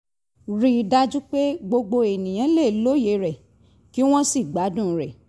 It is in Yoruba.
rí i dájú pé gbogbo ènìyàn lè lóye rẹ̀ kí wọ́n sì gbádùn rẹ̀